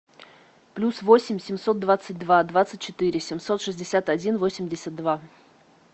плюс восемь семьсот двадцать два двадцать четыре семьсот шестьдесят один восемьдесят два